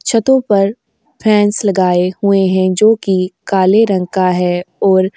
छतों पर फैन्स लगाए हुए हैं जोकि काले रंग का है और --